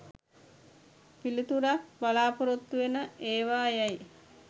පිළිතුරක් බලාපොරොත්තුවෙන ඒවා යැයි